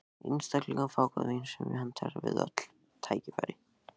Einstaklega fágað vín sem hentar við öll tækifæri.